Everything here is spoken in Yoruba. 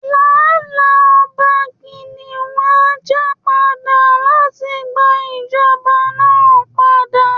Láéláé, Ọba Kìnìún á jà padà láti gba ìjọba náà padà